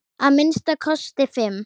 Að minnsta kosti fimm!